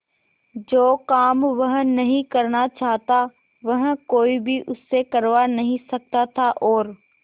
जो काम वह नहीं करना चाहता वह कोई भी उससे करवा नहीं सकता था और